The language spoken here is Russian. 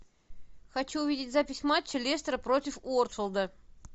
хочу увидеть запись матча лестера против уотфорда